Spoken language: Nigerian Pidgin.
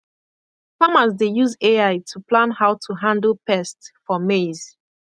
farmers dey use ai to plan how to handle pest for maize